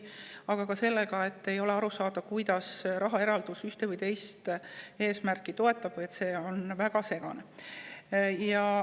Aga ka see, kuidas rahaeraldus ühte või teist eesmärki toetab, on väga segane.